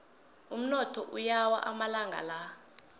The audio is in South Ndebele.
umnotho uyawa amalanga la